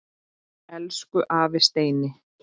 Elsku afi Steini.